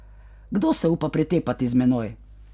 Kdo se upa pretepati z menoj?